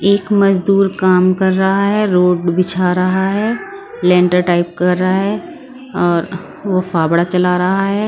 एक मजदूर काम कर रहा है रोड बिछा रहा है लैंटर टाइप कर रहा है और वो फाबड़ा चला रहा है।